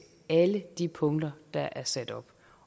alle de punkter der er sat op